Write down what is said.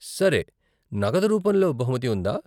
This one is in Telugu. సరే, నగదు రూపంలో బహుమతి ఉందా ?